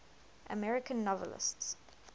american novelists